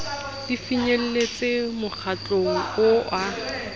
di finyelletse mokgatlong oo a